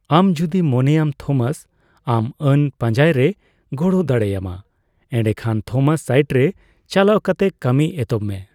ᱟᱢ ᱡᱩᱫᱤᱢ ᱢᱚᱱᱮᱭᱟᱢ ᱛᱷᱚᱢᱟᱥ ᱟᱢ ᱟᱹᱱ ᱯᱟᱸᱡᱟᱭ ᱨᱮ ᱜᱚᱲᱚ ᱫᱟᱲᱮᱭᱟᱢᱟ, ᱮᱸᱰᱮᱠᱷᱟᱱ ᱛᱷᱚᱢᱟᱥ ᱥᱟᱭᱤᱴᱨᱮ ᱪᱟᱞᱟᱣ ᱠᱟᱛᱮ ᱠᱟᱹᱢᱤ ᱮᱛᱚᱦᱚᱵ ᱢᱮ ᱾